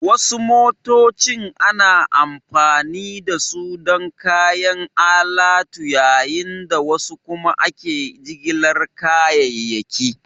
Wasu motocin ana amfani da su don kayan alatu yayin da wasu kuma ake jigilar kayayyaki